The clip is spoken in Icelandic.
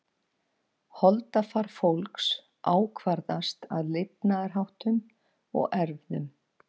Holdafar fólks ákvarðast af lifnaðarháttum og erfðum.